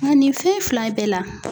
Nka nin fɛn fila in bɛɛ la